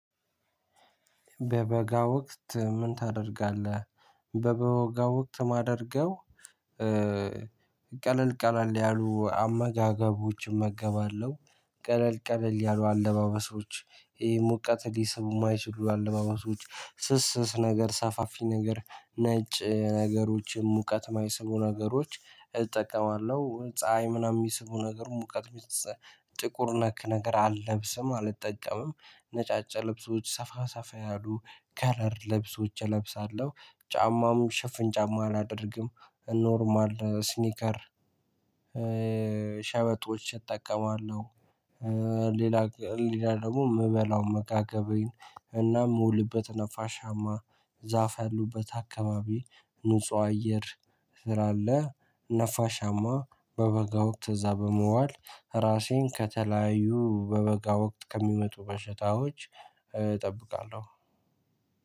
በበጋ ወቅት ምን ታደርጋለህ? በበጋ ወቅት የማደርገው ቀለል ቀለል ያሉ አመጋገቦችን እመገባለሁ ቀለል ቀለል ያሉ አለባበሶች ሙቀት ሊስቡ የማይችሉ አለባበሶች ስስ ስስ ነገር ሰፋፊ ነገር ነጭ ነገሮችን ሙቀት የማይስቡ ነገሮች እጠቀማለሁ ፀሀይ ምናምን የሚስቡ ነገር ሙቀት ጥቁር ነክ ነገር አለብስም አልጠቀምም ነጫጫ ልብሶች ሰፋ ሰፋ ያሉ ከለር ለብሶች እለብሳለሁ ጫማም ሽፍን ጫማ አላደርግም ኖርማል ስኒከር ሸበጦች እጠቀማለሁ ሌላ ሌላ ደግሞ የምበላው አመጋገቤን እና የምውልበት ነፋሻማ ዛፍ ያሉበት አካባቢ ንጹህ አየር ስላለ ነፋሻማ በበጋ ወቅት እዛ በመዋል ራሴን ከተለያዩ በበጋ ወቅት ከሚመጡ በሽታዎች እጠብቃለሁ